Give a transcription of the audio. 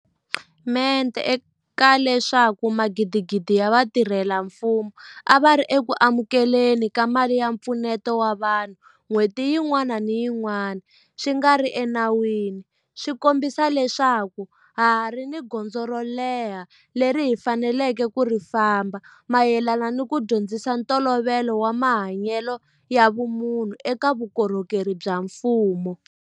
mente ka leswaku magidigidi ya vatirhela mfumo a va ri eku amukele ni ka mali ya mpfuneto wa vanhu n'hweti yin'wana ni yin'wana swi nga ri enawini swi kombisa leswaku ha ha ri ni gondzo ro leha leri hi faneleke ku ri famba mayelana ni ku dyondzisa ntolovelo wa mahanyelo ya vumunhu eka vukorhokeri bya mfumo.